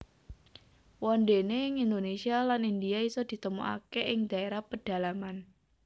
Wondene ing Indonesia lan India iso ditemukake ing daerah pedalaman